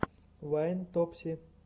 вайн топси